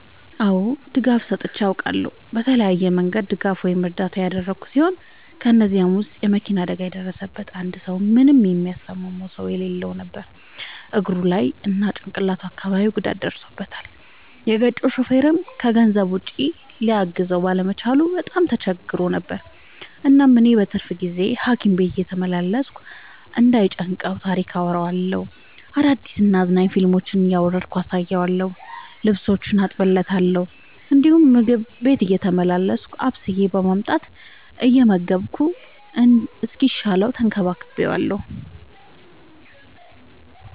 አዎ ድጋፍ ሰጥቼ አውቃለሁ። በተለያየ መንገድ ድጋፍ ወይም እርዳታ ያደረግሁ ሲሆን ከ እነዚህም ውስጥ የ መኪና አደጋ የደረሠበትን አንድ ሰው ምንም የሚያስታምመው ሰው የለውም ነበር እግሩ ላይ እና ጭቅላቱ አካባቢ ጉዳት ደርሶበታል። የገጨው ሹፌርም ከገንዘብ ውጪ ሊያግዘው ባለመቻሉ በጣም ተቸግሮ ነበር። እናም እኔ በትርፍ ጊዜዬ ሀኪም ቤት እየተመላለስኩ እንዳይ ጨንቀው ታሪክ አወራለታለሁ፤ አዳዲስ እና አዝናኝ ፊልሞችን እያወረድኩ አሳየዋለሁ። ልብሶቹን አጥብለታለሁ እንዲሁም ምግብ ቤቴ እየተመላለስኩ አብስዬ በማምጣት እየመገብኩ እስኪሻለው ተንከባክቤዋለሁ።